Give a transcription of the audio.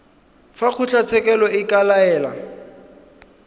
fa kgotlatshekelo e ka laela